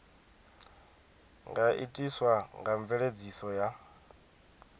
nga itiswa nga mveledziso ya